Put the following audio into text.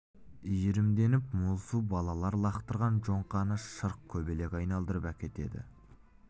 иірімденіп мол су балалар лақтырған жоңқаны шырқ көбелек айналдырып әкетеді